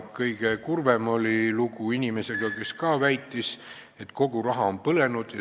Kõige kurvem oli aga lugu inimesega, kes samuti väitis, et kogu raha on põlenud.